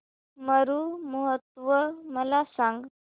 मरु महोत्सव मला सांग